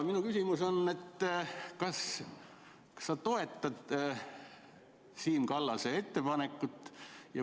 " Minu küsimus on, et kas sa toetad Siim Kallase ettepanekut?